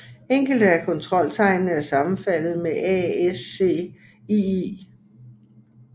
Enkelte af kontroltegnene er sammenfaldende med ASCII